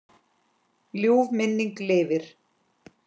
Ljúf minning lifir.